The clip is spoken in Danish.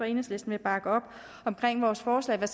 enhedslisten vil bakke op omkring vores forslag